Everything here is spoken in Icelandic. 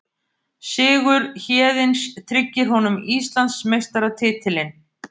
Sigur Héðins tryggir honum Íslandsmeistaratitilinn